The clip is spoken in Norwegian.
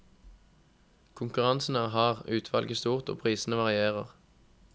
Konkurransen er hard, utvalget stort, og prisene varierer.